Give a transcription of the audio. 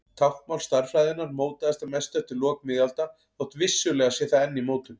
Táknmál stærðfræðinnar mótaðist að mestu eftir lok miðalda þótt vissulega sé það enn í mótun.